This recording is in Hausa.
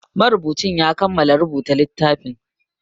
Marubucin ya kamala rubuta littafin